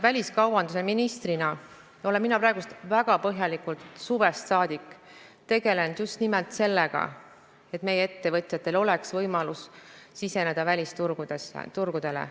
Väliskaubandusministrina olen ma suvest saadik tegelenud väga põhjalikult just nimelt sellega, et meie ettevõtjatel oleks võimalus siseneda välisturgudele.